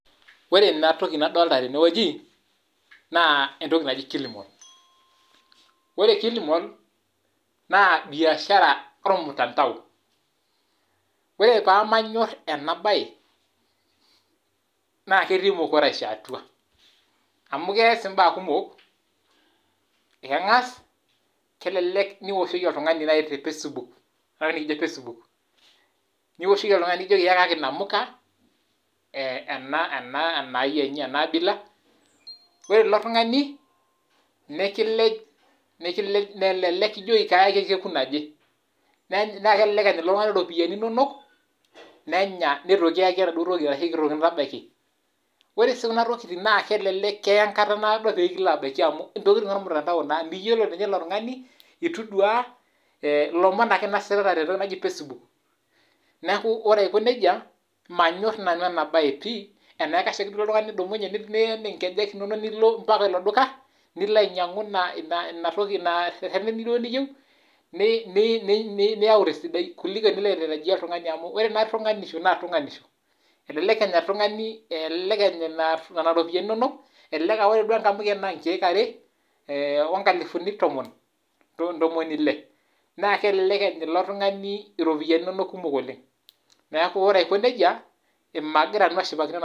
Or ena toki nadolita tene wueli naa entoki naji kilimon ore entoki naji kilimon naa biashara ,ormutandao. Ore pamanyor enabae naa ketii mukuraisho atua amu keas embaa kumok keng'as kelelek naaji ewoshoki oltung'ani te Facebook nioshoki oltung'ani nijoki eyakaki enamuka nayiaji enabila ore elo tung'ani nikilej kelelek kijoki kayaki orkekun oje elelek Enya ilo tung'ani iropiani inonok nenya neitu kiyaki enaduo toki arashu eitu kintabaiki ore si kunatokitin naa kelelek eya enkata nadoo pekibaiki amu ntokitin naa ormutandao miyiolo ninye ilo tung'ani eituu eduaa elomon ake enositata tentoki naaji Facebook neeku ore eku nejia manyor nanu ena bae pii enaikash ake duo oltung'ani tenidumunye niyen ngejek inono mbaka elo duka nilo ainyiangu ena toki duo niyieu niyau tesidai kuliko tenilo tarajia oltung'ani amu ore naa tung'anisho naa tung'anisho elelek Enya Nena ropiani enono elelek AA ore duo enamuke naa nkek are oo nkalifuni ntomoni ele naa kelelek Enya ilo tung'ani iropiani inonok kumok oleng neeku ore Aiko nejia magira ashipakino ena.